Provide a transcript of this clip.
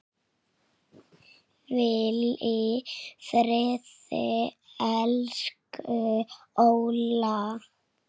Hvíl í friði, elsku Óla.